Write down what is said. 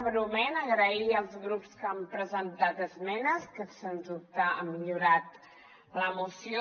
breument donar les gràcies als grups que han presentat esmenes que sens dubte han millorat la moció